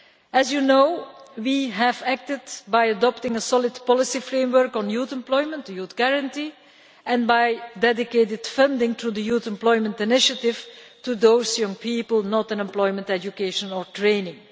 As you know, we have acted by adopting a solid policy framework on youth employment, the Youth Guarantee, and by dedicated funding to the Youth Employment Initiative for those young people not in employment, education or training.